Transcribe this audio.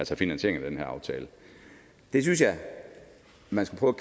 finansierng i den her aftale jeg synes at man skulle